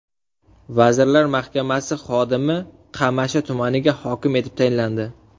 Vazirlar Mahkamasi xodimi Qamashi tumaniga hokim etib tayinlandi.